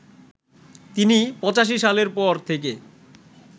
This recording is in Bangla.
তিনি ৮৫ সালের পর থেকে